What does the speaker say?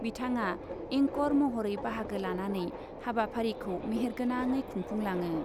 बिथाङा इंकर महरै बाहागो लानानै हाबाफारिखौ मेहेरगोनाङै खुंफुंलाङो ।